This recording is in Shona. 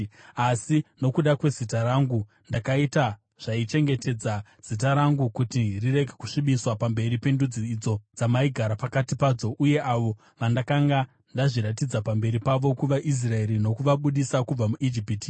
Asi nokuda kwezita rangu, ndakaita zvaichengetedza zita rangu kuti rirege kusvibiswa pamberi pendudzi idzo dzamaigara pakati padzo uye avo vandakanga ndazviratidza pamberi pavo kuvaIsraeri nokuvabudisa kubva muIjipiti.